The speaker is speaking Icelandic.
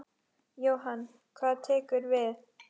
Jóhann: Hvað tekur við?